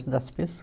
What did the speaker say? Das